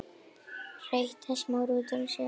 hreytti Smári út úr sér.